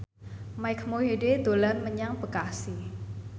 Mike Mohede dolan menyang Bekasi